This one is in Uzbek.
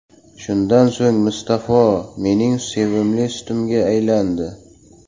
Shundan so‘ng, Musaffo mening sevimli sutimga aylandi.